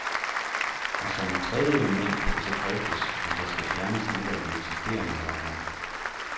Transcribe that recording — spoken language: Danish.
Og som et tredje element kan det så drøftes, om der skal fjernes nogle af de eksisterende værker.